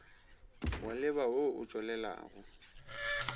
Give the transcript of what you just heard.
wa leba wo o tšwelelago